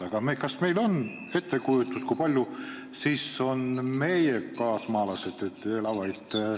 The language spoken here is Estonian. Aga kas meil on ettekujutust, kui palju meie kaasmaalasi elab Valgevenes?